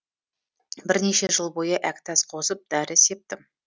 бірнеше жыл бойы әктәс қосып дәрі септім